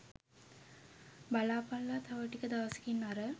බලපල්ලා තව ටික දවසකින් අර